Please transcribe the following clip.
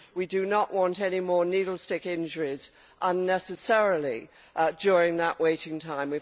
We do not want any more needle stick injuries unnecessarily during that waiting time.